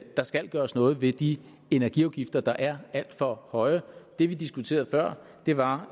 der skal gøres noget ved de energiafgifter der er alt for høje det vi diskuterede før var